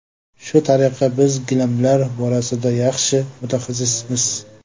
Shu tariqa, biz gilamlar borasida yaxshi mutaxassismiz.